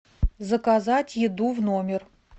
заказать еду в номер